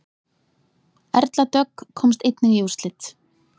Erla Dögg komst einnig í úrslit